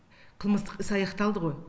қылмыстық іс аяқталды ғой